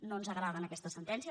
no ens agraden aquestes sentències